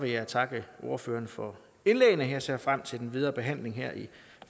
jeg takke ordførerne for indlæggene jeg ser frem til den videre behandling her i